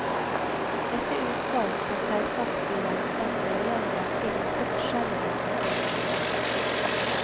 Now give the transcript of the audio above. Dette utsagn kan selvsagt bli gjenstand for en lang rekke, ganske forskjellige, fortolkninger.